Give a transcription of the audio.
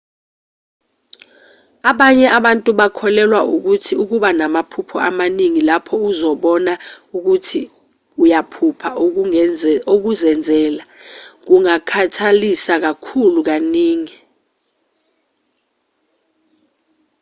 abanye abantu bakholelwa ukuthi ukuba namaphupho amaningi lapho uzibona khona ukuthi uyaphupha okuzenzela kungakhathalisa kakhulu kaningi